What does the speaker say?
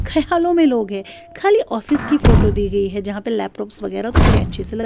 -- hello خالی office کی photo دی گی ہیں جھا پی لپٹوپس وگرا تو بدی اچھے سے ل